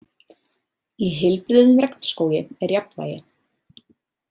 Í heilbrigðum regnskógi er jafnvægi.